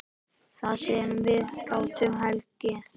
Það sem við gátum hlegið.